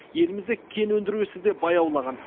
елімізде кен өндіру ісі де баяулаған